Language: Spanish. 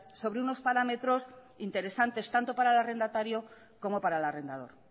sobre unos parámetros interesantes tanto para el arrendatario como para el arrendador